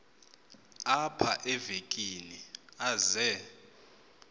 apha evekini aze